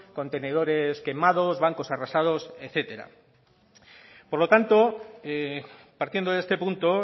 contenedores quemados bancos arrasados etcétera por lo tanto partiendo de este punto